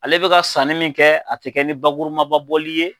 Ale bɛ ka sanni min kɛ a tɛ kɛ ni bakurumababɔli ye